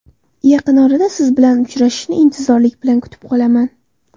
Yaqin orada Siz bilan uchrashishni intizorlik bilan kutib qolaman.